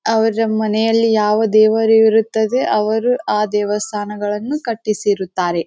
ಅವರ ಮನೆಯಲ್ಲಿ ಯಾವ ದೇವರು ಇರ್ತ್ತದೆ ಅವರು ಆ ದೇವಸ್ಥಾನಗಳನ್ನು ಕಟ್ಟಿಸಿರುತ್ತಾರೆ.